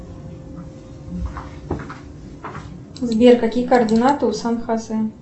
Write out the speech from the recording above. сбер какие координаты у сан хосе